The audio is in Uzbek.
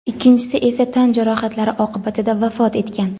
ikkinchisi esa tan jarohatlari oqibatida vafot etgan.